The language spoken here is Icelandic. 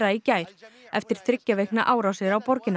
í gær eftir þriggja vikna árásir á borgina